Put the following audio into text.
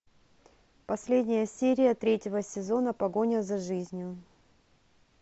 последняя серия третьего сезона погоня за жизнью